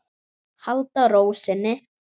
Halda ró sinni.